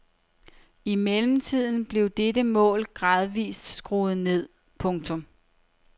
I mellemtiden blev dette mål gradvist skruet ned. punktum